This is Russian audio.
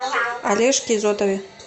олежке изотове